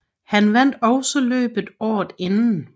Han vandt også løbet året inden